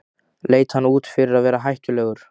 Leit hann út fyrir að vera hættulegur?